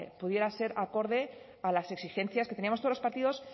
pudiera ser acorde a las exigencias que teníamos todos los partidos